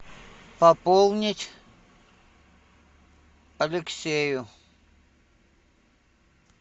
пополнить алексею